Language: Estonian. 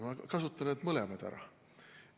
Ma kasutan mõlemad ära.